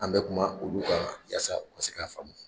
An bɛ kuma olu kan yaasa u ka se k'a faamu.